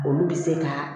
Olu bɛ se ka